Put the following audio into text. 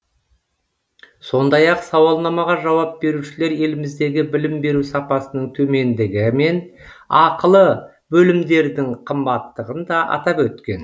сондай ақ сауалнамаға жауап берушілер еліміздегі білім беру сапасының төмендігі мен ақылы бөлімдердің қымбаттығын да атап өткен